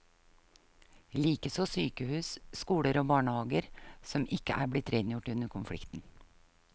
Likeså sykehus, skoler og barnehaver som ikke er blitt rengjort under konflikten.